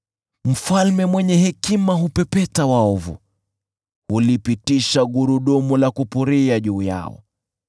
Mfalme mwenye hekima hupepeta waovu, hulipitisha gurudumu la kupuria juu yao.